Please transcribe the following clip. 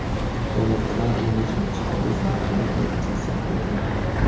Donald Tramp limuzin ichida o‘z nutqini repetitsiya qildi .